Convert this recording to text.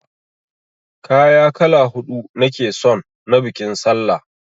Kaya kala huɗu nake son na biƙin sallah!